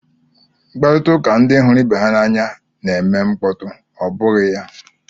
Mkparịta ụka ndị hụrụ ibe ha n'anya na-eme mkpọtụ, ọ bụghị ya?